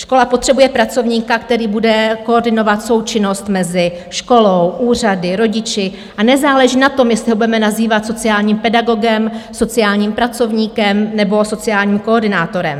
Škola potřebuje pracovníka, který bude koordinovat součinnost mezi školou, úřady, rodiči a nezáleží na tom, jestli ho budeme nazývat sociálním pedagogem, sociálním pracovníkem nebo sociálním koordinátorem.